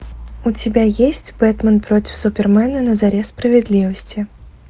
у тебя есть бэтмен против супермена на заре справедливости